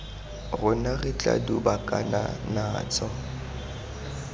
rona re tla dubakana natso